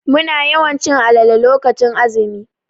Muna yawan cin alale lokacin azumi.